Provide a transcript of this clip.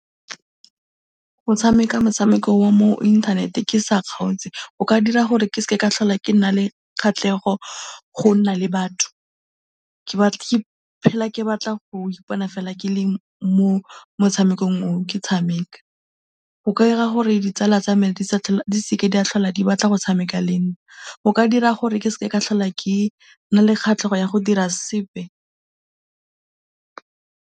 Go tshameka motshameko wa mo internet-e ke sa kgaotse, go ka dira gore ke se ke ka tlhola ke nna le kgatlhego go nna le batho, ke phela ke batla go ipona fela ke le mo motshamekong oo ke tshameka, go ka dira gore ditsala tsa me di se ke tsa tlhola di batla go tshameka le nna, go ka dira gore ke se ke ka tlhola ke nna le kgatlhego ya go dira sepe.